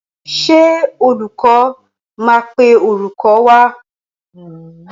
Ṣé olúkọ́ máa pè orúkọ wa?